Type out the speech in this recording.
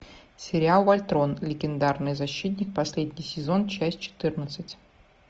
сериал вольтрон легендарный защитник последний сезон часть четырнадцать